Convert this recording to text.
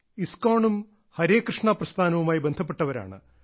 ISKCON ഉം ഹരേകൃഷ്ണാ പ്രസ്ഥാനവുമായി ബന്ധപ്പെട്ടവരാണ്